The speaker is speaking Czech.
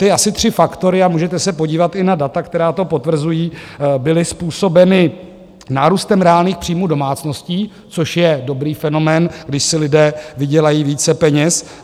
Ty asi tři faktory, a můžete se podívat i na data, která to potvrzují, byly způsobeny nárůstem reálných příjmů domácností, což je dobrý fenomén, když si lidé vydělají více peněz.